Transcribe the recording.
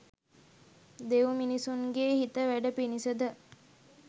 දෙව් මිනිසුන්ගේ හිත වැඩ පිණිස ද